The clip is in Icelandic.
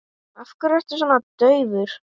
Af hverju ertu svona daufur?